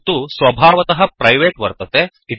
तत्तुस्वभवातः private वर्तते